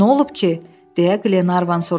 Nə olub ki, deyə Qlenarvan soruşdu.